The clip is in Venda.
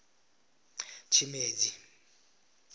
tshimedzi